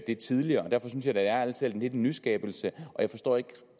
det tidligere og derfor synes jeg da ærlig talt lidt en nyskabelse jeg forstår